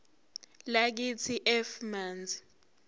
lakithi f manzi